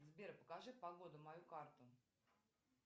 сбер покажи погоду мою карту